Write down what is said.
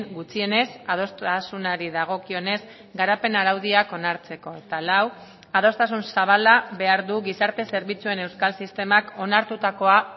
gutxienez adostasunari dagokionez garapen araudiak onartzeko eta lau adostasun zabala behar du gizarte zerbitzuen euskal sistemak onartutakoa